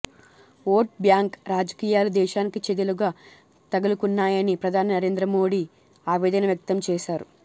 vote bank రాజకీయాలు దేశానికి చెదలుగా తగులుకున్నాయని ప్రధాని నరేంద్రమోడీ ఆవేదన వ్యక్తం చేశారు